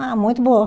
Ah, muito boa.